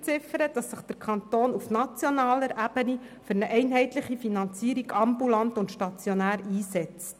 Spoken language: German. Sie verlangt, dass sich der Kanton auf nationaler Ebene für eine einheitliche Finanzierung ambulant und stationär einsetzt.